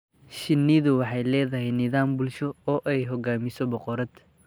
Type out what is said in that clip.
Shinnidu waxay leedahay nidaam bulsho oo ay hogaamiso boqorad.